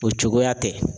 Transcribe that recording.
O cogoya tɛ